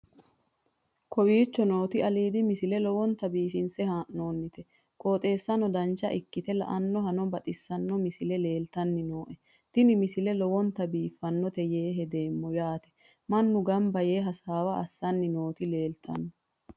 kowicho nooti aliidi misile lowonta biifinse haa'noonniti qooxeessano dancha ikkite la'annohano baxissanno misile leeltanni nooe ini misile lowonta biifffinnote yee hedeemmo yaatemannu gamba yee hasaawa assanni nooti leeltanno